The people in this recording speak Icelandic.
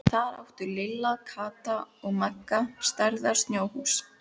Þar áttu Lilla, Kata og Magga stærðar snjóhús.